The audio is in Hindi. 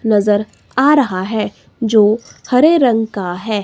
नजर आ रहा है जो हरे रंग का है।